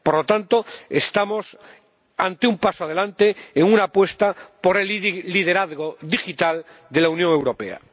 Por lo tanto, estamos ante un paso adelante en una apuesta por el liderazgo digital de la Unión Europea.